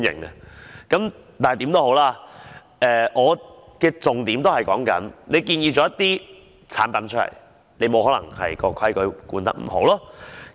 無論如何，我的重點是當局建議了一些產品，卻沒有規管得很好。